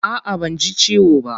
A'a banji ciwo ba.